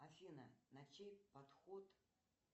афина на чей подход